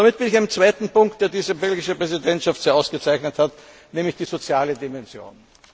Damit bin ich beim zweiten Punkt, den diese belgische Präsidentschaft sehr ausgezeichnet hat, nämlich der sozialen Dimension.